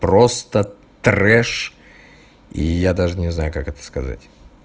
просто трэш я даже не знаю как это сказать